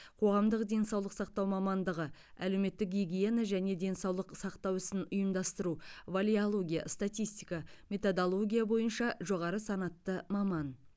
қоғамдық денсаулық сақтау мамандығы әлеуметтік гигиена және денсаулық сақтау ісін ұйымдастыру валеология статистика методология бойынша жоғары санатты маман